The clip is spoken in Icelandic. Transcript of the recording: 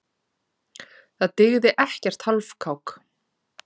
Það dygði ekkert hálfkák.